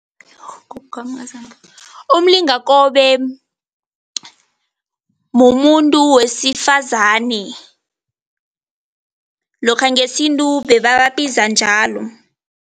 Umlingakobe mumuntu wesifazane, lokha ngesintu bebababiza njalo.